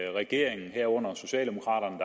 at regeringen herunder socialdemokraterne